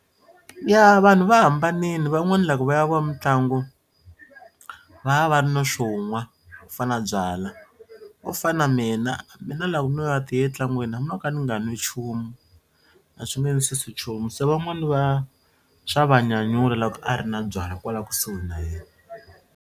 Ya vanhu va hambanini van'wani loko va ya vo mitlangu va ya va ri na swo nwa ku fana na byalwa. Wo fana na mina mina loko no ya ti yela ntlangwini hambi no ka ni nga nwi nchumu a swi nge ni susi nchumu se van'wani va swa va nyanyula loko a ri na byalwa kwala kusuhi na yena.